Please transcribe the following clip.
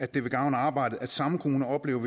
det vil gavne arbejdet at samme kommuner oplever